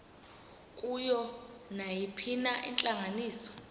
kuyo nayiphina intlanganiso